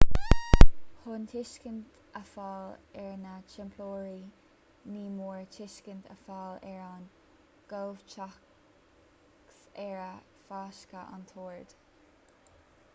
chun tuiscint a fháil ar na teamplóirí ní mór tuiscint a fháil ar an gcomhthéacs as ar fáisceadh an t-ord